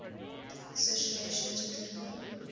association took legal